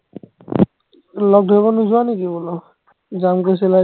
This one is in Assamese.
লগ ধৰিব নোযোৱা নিকি বোলো যাম কৈছিলা যে